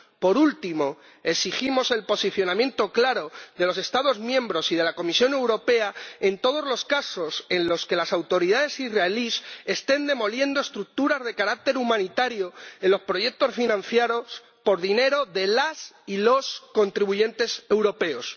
Por último, exigimos el posicionamiento claro de los Estados miembros y de la Comisión Europea en todos los casos en los que las autoridades israelíes estén demoliendo estructuras de carácter humanitario, construidas en el marco de proyectos financiados con dinero de las y los contribuyentes europeos.